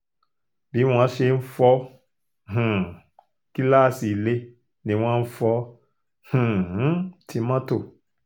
bí wọ́n ṣe fọ́ um gíláàsì ilé ni wọ́n fọ́ um ti mọ́tò